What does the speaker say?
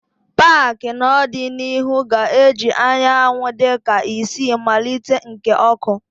paaki n'ọdịnihu ga-eji anyanwụ dị ka isi mmalite nke oku.